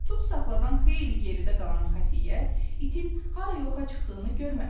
Tutsaxladan xeyli geridə qalan xəfiyyə, itin hara yoxa çıxdığını görməmişdi.